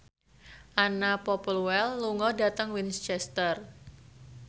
Anna Popplewell lunga dhateng Winchester